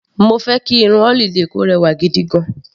Mo fẹ́ kí irun holiday kò rẹwà gigigan.